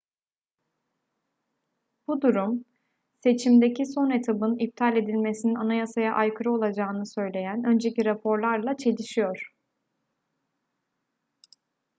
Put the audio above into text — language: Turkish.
bu durum seçimdeki son etabın iptal edilmesinin anayasaya aykırı olacağını söyleyen önceki raporlarla çelişiyor